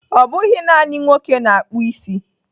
Ọ bụghị naanị nwoke na-akpụ isi.